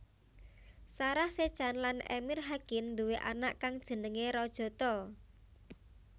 Sarah Sechan lan Emir Hakin nduwé anak kang jenéngé Rajata